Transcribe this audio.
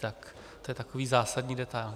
Tak to je takový zásadní detail.